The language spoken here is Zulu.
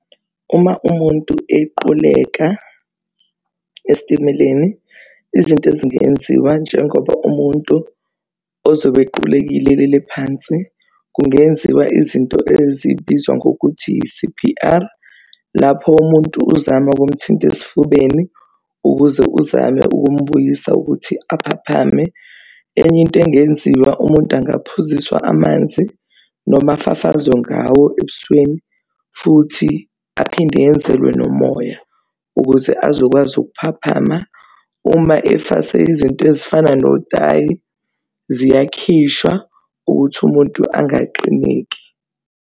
Uma umuntu equleka esitimeleni, izinto ezingenziwa njengoba umuntu ozobe equlekile elele phansi kungenziwa izinto ezibizwa ngokuthi i-C_P_R, lapho umuntu uzama ukumthinta esifubeni ukuze uzame ukumbuyisa ukuthi aphaphame. Enye into engenziwa, umuntu angaphuziswa amanzi noma afafazwe ngawo ebusweni futhi aphinde enzelwe nomoya ukuze azokwazi ukuphaphama. Uma efase izinto ezifana notayi ziyakhishwa ukuthi umuntu angaxineki.